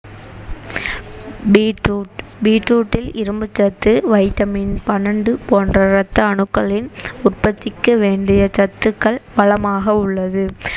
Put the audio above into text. beet root beet root ல் இரும்புச்சத்து vitamin பன்னண்டு போன்ற ரத்த அணுக்களின் உற்பத்திக்கு வேண்டிய சத்துக்கள் வளமாக உள்ளது